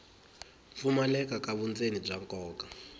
pfumaleka ka vundzeni bya nkoka